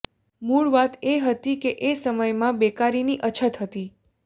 મૂળ વાત એ હતી કે એ સમયમાં બેકારીની અછત હતી